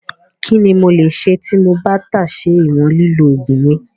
Kíni mo le ṣẹ ti mo bá tà se iwọ̀n lílọ̀ oogun mi?